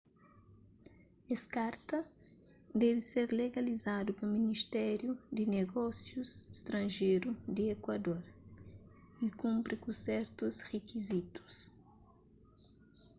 es karta debe ser legalizadu pa ministériu di nigósius stranjeru di ekuador y kunpri ku sertus rikizitus